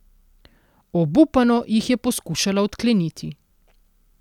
Obupano jih je poskušala odkleniti.